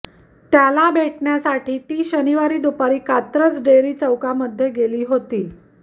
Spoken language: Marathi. त्याला भेटण्यासाठी ती शनिवारी दुपारी कात्रज डेअरी चौकामध्ये गेली होती